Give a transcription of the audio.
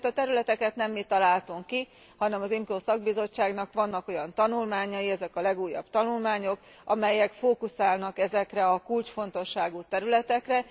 Ezeket a területeket nem mi találtuk ki, hanem az IMCO szakbizottságnak vannak olyan tanulmányai, ezek a legújabb tanulmányok, amelyek fókuszálnak ezekre a kulcsfontosságú területekre.